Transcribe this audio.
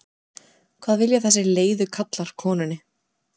hvað vilja þessir leiðu karlar konunni?